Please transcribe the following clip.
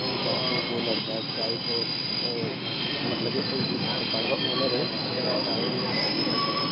जहाँ पे ये लड़का चाय को मतलब के उस दूकान का ओनर है जो चाय कस्टमर --